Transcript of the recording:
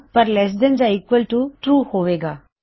ਪਰ less than ਯਾ equal to true ਹੋਵੇਗਾ